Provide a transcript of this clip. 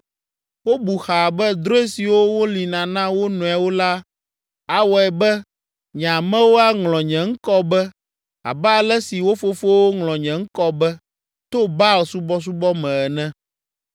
Wobu xaa be drɔ̃e siwo wolĩna na wo nɔewo la awɔe be nye amewo aŋlɔ nye ŋkɔ be abe ale si wo fofowo ŋlɔ nye ŋkɔ be, to Baal subɔsubɔ me ene.”